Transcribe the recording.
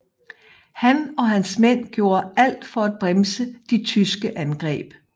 Han og hans mænd gjorde alt for at bremse de tyske angreb